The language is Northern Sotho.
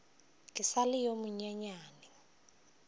ke sa le yo monyenyane